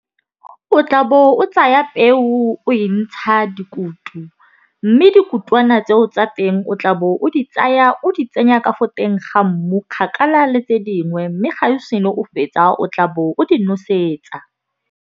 O tla bo o tsaya peo o e ntsha dikutu. Mme dikutwana tseo tsa teng o tla bo o di tsaya o di tsenya ka fo teng ga mmu kgakala le tse dingwe. Mme ga o senna o fetsa o tla bo o di nosetsa.